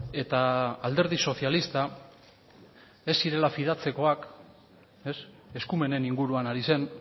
eta alderdi sozialista ez zirela fidatzekoak eskumenen inguruan ari zen